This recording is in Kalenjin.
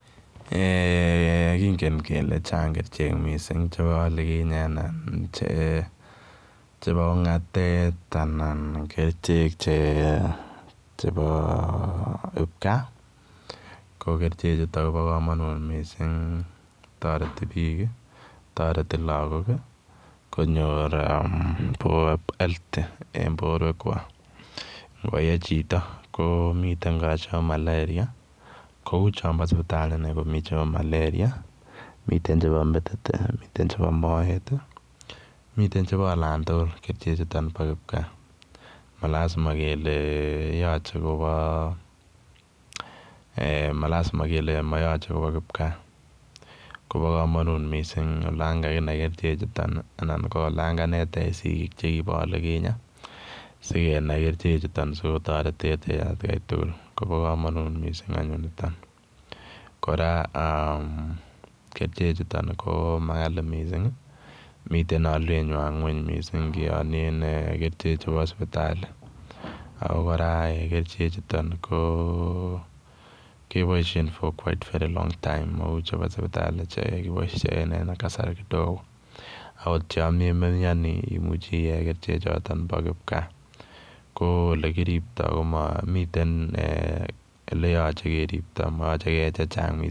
Eeh kongeen chaang missing kercheek chebo ongateet anan kercheek chebo kipkaa ko kercheek chutoon koba kamanut missing taretiik biik taretii lagook konyoor [healthy] en borwek kwaak ngo yee chitoo kou chambo malaria kou chambo sipitali komii chambo malaria miten chebo metit ii miten chebo moet ii malazima kele yachei kobaa malazima kele yachei kobaa mayachei kobaa kipkaa kobaa kamanuut Missing olaan kaginai kerchek chutoon anan ko olaan kaneteech sikisiet chekibo olikinyei sikenai kercheek chutoon sikotareteech en at Kai tugul kobaa kamanuut missing anyuun nitoon, kora aah kercheek chutoon ko makali missing ii miten aliet nywaany ngweeng missing ingianien kercheek chubo sipitalii ako kercheek chutoon kebaisheen for very [quite long time] mauu chebo sipitalii chekibaisheen en kasar kidogo akoot yaan memianii imuuche iyee kercheek chotoon bo kipkaa ko olekiriptoi ko miten ole yachei keriptaa yachei keyee che chaang missing.